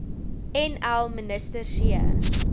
nl minister c